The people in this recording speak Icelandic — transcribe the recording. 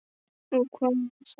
Og hvað með það!